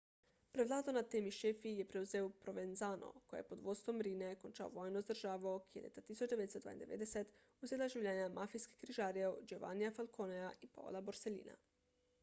prevlado nad temi šefi je prevzel provenzano ko je pod vodstvom riine končal vojno z državo ki je leta 1992 vzela življenja mafijskih križarjev giovannija falconeja in paola borsellina